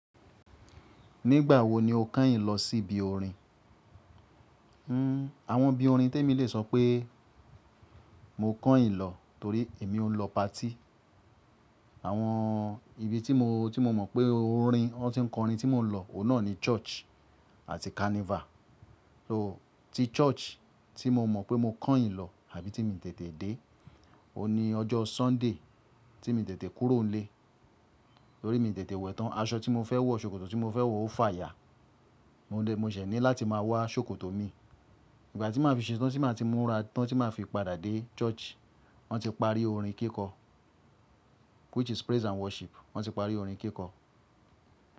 Nígbà wo ni o kàn yín lọ sí ibi orin? Hmm, àwọn ibi orin tí èmi lè sọ pé mo kàn yin lọ torí èmi ò ń lọ pati. Àwọn ibi tí mo, tí mo mọ̀ pé orin wọ́n ti ń kọrin tí mò ń lọ, òun náà ni church àti carnival. Ooo, tí church tí mo mọ̀ pé mo kàn ì lọ àbí tí mi tètè dé, ó ní ọjọ́ Sunday tí mi tètè kúrò nílé torí mi tètè wẹ̀tán aṣọ tí mo fẹ́ wọ̀, ṣòkòtò tí mo fẹ́ wọ̀ ó fàya. Mo dẹ̀, mo ṣẹ̀ ní láti máa wá ṣòkòtò mi. Ìgbà tí màá fi ṣetán, tí màá ti múra tán, tí màá fi padà dé church, wọ́n ti parí orin kíkọ. Which is praise and worship. Wọ́n ti parí orin kíkọ.